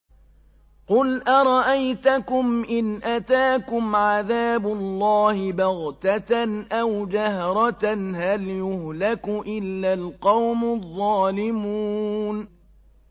قُلْ أَرَأَيْتَكُمْ إِنْ أَتَاكُمْ عَذَابُ اللَّهِ بَغْتَةً أَوْ جَهْرَةً هَلْ يُهْلَكُ إِلَّا الْقَوْمُ الظَّالِمُونَ